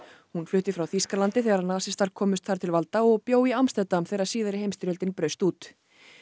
hún flutti frá Þýskalandi þegar nasistar komust þar til valda og bjó í Amsterdam þegar síðari heimsstyrjöldin braust út